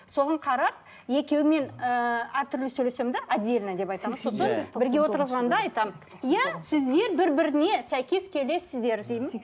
соған қарап екеуімен ыыы әртүрлі сөйлесемін де отдельно деп айтады ма сосын бірге отырғызғанда айтамын иә сіздер бір біріне сәйкес келесіздер деймін